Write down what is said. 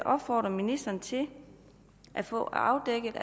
opfordre ministeren til at få afdækket